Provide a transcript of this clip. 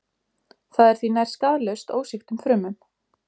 Það er því nær skaðlaust ósýktum frumum.